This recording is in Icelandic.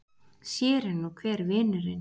Sér er nú hver vinurinn!